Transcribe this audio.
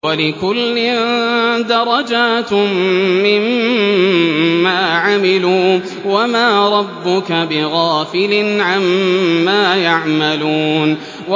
وَلِكُلٍّ دَرَجَاتٌ مِّمَّا عَمِلُوا ۚ وَمَا رَبُّكَ بِغَافِلٍ عَمَّا يَعْمَلُونَ